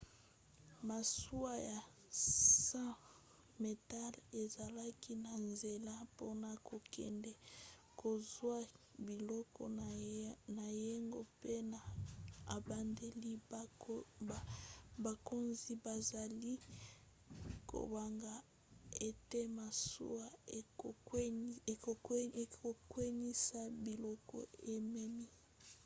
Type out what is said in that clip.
masuwa ya 100 metele ezalaki na nzela mpona kokende kozwa biloko na yango mpe na ebandeli bakonzi bazalaki kobanga ete masuwa ekokweyisa biloko ememi